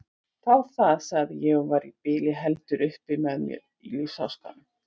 Þá það, sagði ég og var í bili heldur upp með mér af lífsháskanum.